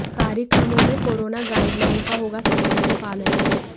कार्यक्रमों में corona guideline का होगा सख्ती से पालन